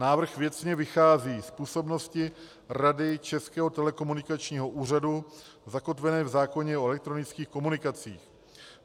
Návrh věcně vychází z působnosti Rady Českého telekomunikačního úřadu zakotvené v zákoně o elektronických komunikacích.